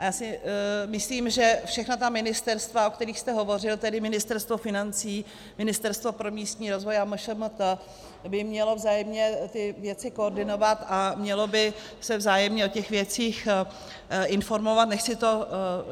A já si myslím, že všechna ta ministerstva, o kterých jste hovořil, tedy Ministerstvo financí, Ministerstvo pro místní rozvoj a MŠMT, by měla vzájemně ty věci koordinovat a měla by se vzájemně o těch věcích informovat.